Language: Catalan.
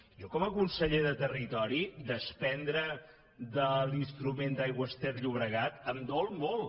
jo com a conseller de territori desprendre’ns de l’instrument d’aigües ter llobregat em dol molt